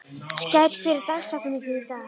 Skær, hver er dagsetningin í dag?